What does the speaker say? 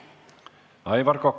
Aivar Kokk.